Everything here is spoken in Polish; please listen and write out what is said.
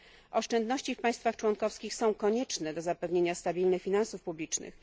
Oszczędności w państwach członkowskich są konieczne do zapewnienia stabilnych finansów publicznych.